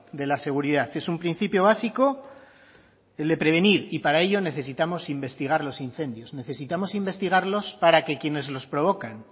de la seguridad es un principio básico de prevenir y para ello necesitamos investigar los incendios necesitamos investigarlos para que quienes los provocan